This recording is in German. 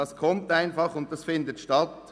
Sie findet einfach statt.